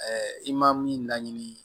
i ma min laɲini